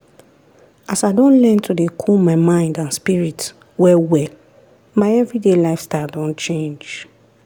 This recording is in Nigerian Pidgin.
as i don learn to dey cool my mind and spirit well well my everyday lifestyle don change.